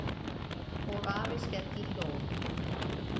Og afi skellihló.